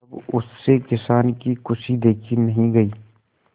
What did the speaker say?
तब उससे किसान की खुशी देखी नहीं गई